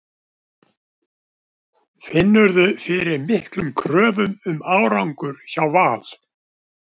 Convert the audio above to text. Finnurðu fyrir miklum kröfum um árangur hjá Val?